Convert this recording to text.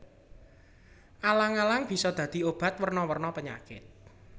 Alang alang bisa dadi obat werna werna penyakit